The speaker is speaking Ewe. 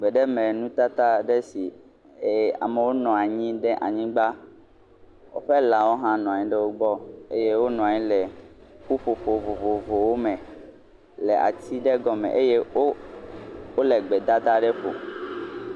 Mɔzɔlawo le eʋu me eye eʋua le mɔdodo dzi. Ameha bubuwo hã wò le zɔzɔm le ʋua xa le mɔdodoa dzi.